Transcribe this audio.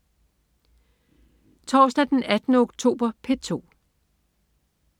Torsdag den 18. oktober - P2: